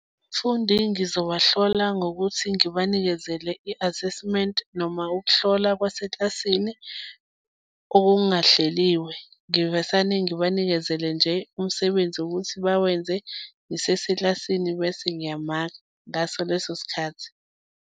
Abafundi ngizobahlola ngokuthi ngibanikezele i-assessment noma ukuhlola kwaseklasini okungahleliwe. Ngivesane ngibanikezele nje umsebenzi wokuthi bawenze ngiseseklasini bese ngiyamaka ngaso leso sikhathi.